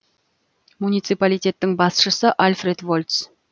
муниципалитеттің басшысы альфред вольц